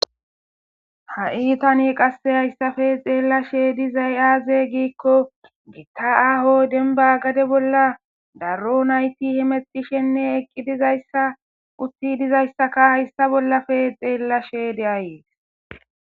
Ha'i tani qasse hayssafe xeella shedi zay aaze giikko gitta aho denba gade bolla daro nayti himetishenne eqqi dizayssa utti dizayssaka hayssa bollafe xeella sheeyde ayees